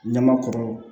Ɲama kɔrɔ